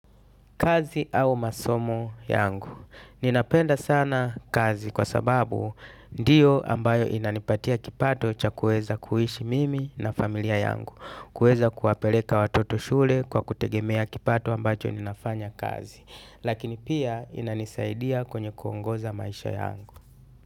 Kazi au masomo yangu, ninapenda sana kazi kwa sababu ndiyo ambayo inanipatia kipato cha kuweza kuishi mimi na familia yangu, kuweza kuwapeleka watoto shule kwa kutegemea kipato ambacho ninafanya kazi, lakini pia inanisaidia kwenye kuongoza maisha yangu.